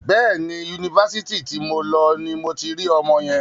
Bẹ́ẹ̀ni, Yunifásitì ti mo lọ ni mo ti rí ọmọ yẹn.